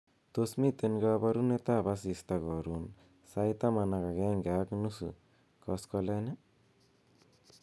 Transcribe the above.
tos miten koborunet ab asista korun sait taman ak agenge ak nusu koskolen ii